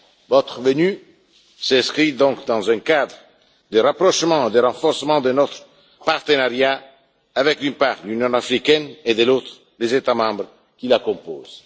Votre venue s'inscrit donc dans le cadre du rapprochement et du renforcement de notre partenariat avec, d'une part, l'Union africaine et, de l'autre, les États membres qui la composent.